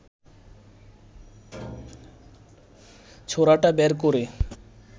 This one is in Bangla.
ছোরাটা বের করে